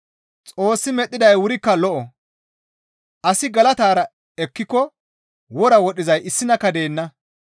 Xoossi medhdhiday wurikka lo7o; asi galatara ekkiko wora wodhdhizay issinakka deenna.